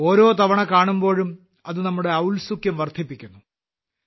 ഓരോ തവണ കാണുമ്പോഴും അത് നമ്മുടെ ഔത്സ്യുക്യം വർദ്ധിപ്പിക്കുന്നു